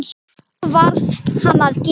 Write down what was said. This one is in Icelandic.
Það varð hann að gera.